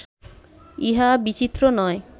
ইহা বিচিত্র নয়